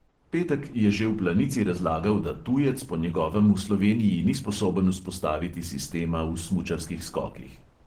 Petek je že v planici razlagal, da tujec po njegovem v sloveniji ni sposoben vzpostaviti sistema v smučarskih skokih.